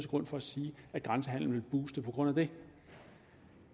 grund for at sige at grænsehandelen vil booste på grund af det